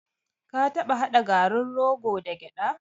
Ka taɓa haɗa garin rogo da gyaɗa?